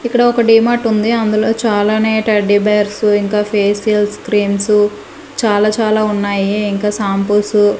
ఇక్కడ ఒక డిమార్ట్ ఉంది అందులో చాలానే రెడ్డిబేర్స్ ఇంకా ఫేషియల్ క్రీమ్స్ చాలా చాలా ఉన్నాయి ఇంకా షాంపూసు .